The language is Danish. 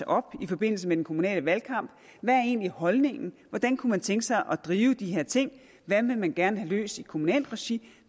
op i forbindelse med den kommunale valgkamp hvad er egentlig holdningen hvordan kunne man tænke sig at drive de her ting hvad vil man gerne have løst i kommunalt regi